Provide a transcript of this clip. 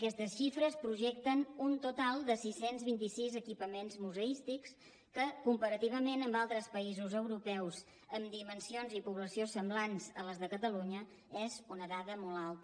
aquestes xifres projecten un total de sis cents i vint sis equipaments museístics que comparativament amb altres països europeus amb dimensions i població semblants a les de catalunya és una dada molt alta